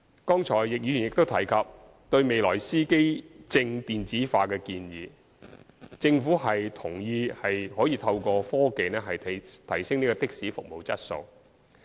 剛才易議員也提及對未來司機證電子化的建議，政府同意可以透過科技提升的士服務質素。